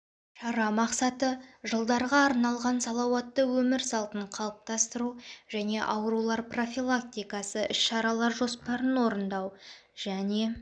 шара мақсаты жылдарға арналған салауатты өмір салтын қалыптастыру және аурулар профилактикасы іс-шаралар жоспарын орындау және